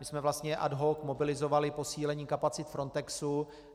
My jsme vlastně ad hoc mobilizovali posílení kapacit Frontexu.